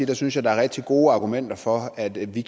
jeg synes at der er rigtig gode argumenter for at vi